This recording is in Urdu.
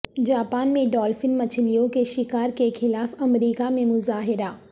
جاپان میں ڈالفن مچھلیوں کے شکار کے خلاف امریکہ میں مظاہررہ